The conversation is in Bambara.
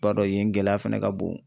Ba dɔ ye yen gɛlɛya fɛnɛ ka bon.